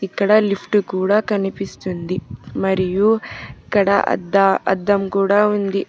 ఇక్కడ లిఫ్ట్ కూడ కనిపిస్తుంది మరియు ఇక్కడ అద్దా అద్దం కూడ ఉంది.